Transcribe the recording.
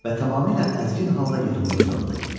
Və tamamilə əzgin halda yerində uzandı.